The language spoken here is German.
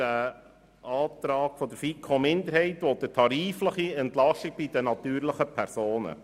Der Antrag der FiKo-Minderheit will eine tarifliche Entlastung bei den natürlichen Personen.